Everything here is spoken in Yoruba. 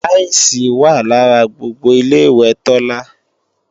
táílsìì wà lára gbogbo Ilé-ìwẹ̀ Tọ́lá